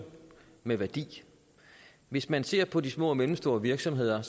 med værdi hvis man ser på de små og mellemstore virksomheder